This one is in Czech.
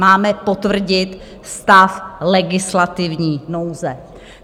Máme potvrdit stav legislativní nouze.